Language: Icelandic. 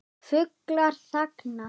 Fuglar þagna.